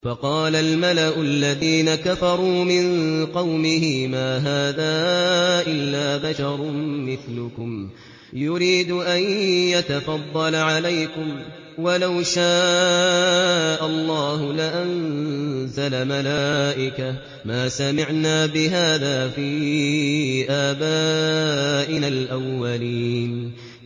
فَقَالَ الْمَلَأُ الَّذِينَ كَفَرُوا مِن قَوْمِهِ مَا هَٰذَا إِلَّا بَشَرٌ مِّثْلُكُمْ يُرِيدُ أَن يَتَفَضَّلَ عَلَيْكُمْ وَلَوْ شَاءَ اللَّهُ لَأَنزَلَ مَلَائِكَةً مَّا سَمِعْنَا بِهَٰذَا فِي آبَائِنَا الْأَوَّلِينَ